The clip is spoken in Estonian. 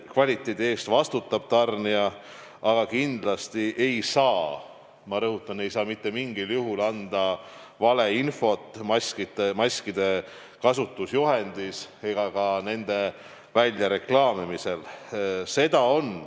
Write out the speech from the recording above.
Kvaliteedi eest vastutab tarnija, aga kindlasti ei saa – ma rõhutan: ei saa – mitte mingil juhul anda valeinfot maskide kasutusjuhendis ega ka nende väljareklaamimisel.